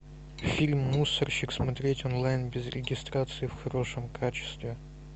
фильм мусорщик смотреть онлайн без регистрации в хорошем качестве